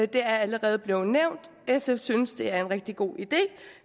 det er allerede blevet nævnt sf synes det er en rigtig god idé